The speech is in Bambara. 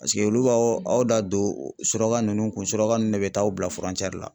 Paseke olu b'aw da don suraka nunnu kun suraka ninnu de bɛ taa aw bila la.